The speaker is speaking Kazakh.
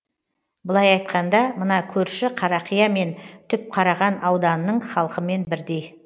былай айтқанда мына көрші қарақия мен түпқараған ауданының халқымен бірдей